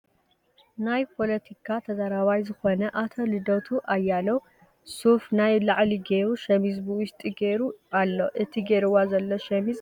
ናይ ፖለቲካ ተዛራባይ ዝኮነ ኣቶ ልደቱ ኣያሌው ሱፍ ናይ ላዕሊ ጌሩ ሸሚዝ ብውሽጢ ጊሩ ኣሎ እቲ ጌርዋ ዞሎ ሸሚዝ ቀለሙ እንታይ ይበሃል ?